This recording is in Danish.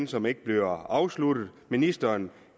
som ikke bliver afsluttet ministeren